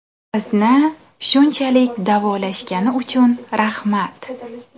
Bizni shunchalik davolashgani uchun rahmat.